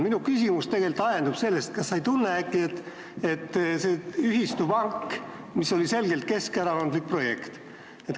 See ühistupank oli selgelt keskerakondlik projekt.